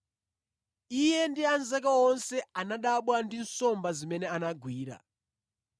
Iye ndi anzake onse anadabwa ndi nsomba zimene anagwira,